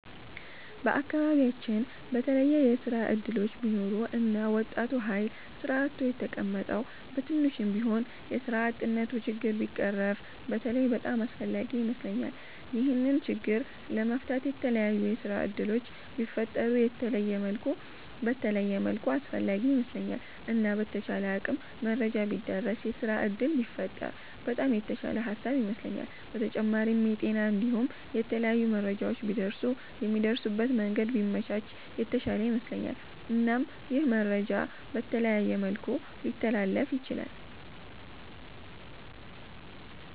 በአከባቢያቺን በተለየ የስራ እድሎች ቢኖሩ እና ወጣቱ ሀይል ስራ አጥቶ የተቀመጠዉ በትንሹም ቢሆን የስራ አጥነቱ ችግር ቢቀረፍ በተለይ በጣም አስፍላጊ ይመስለኛል። ይሄንን ችግር ለመፍታት የተላያዩ የስራ እድሎች ቢፈጠሩ በተለየ መልኩ አስፈላጊ ይመስለኛል። እና በተቻለ አቅም መረጃ ቢዳረስ የስራ እድል ቢፈጠር በጣም የተሻለ ሃሳብ ይመስለኛል። በተጫማሪም የጤና እንዲሁም የተለያዩ መረጃዎች ቢደርሱ የሚደርሱበት መንገድ ቢመቻች የተሻለ ይመስለኛል። እናም ይህ መረጃ በተለያየ መልኩ ሊተላለፍ ይችላል።